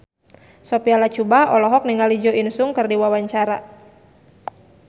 Sophia Latjuba olohok ningali Jo In Sung keur diwawancara